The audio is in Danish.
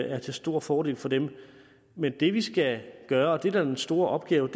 er til stor fordel for dem men det vi skal gøre og det der er den store opgave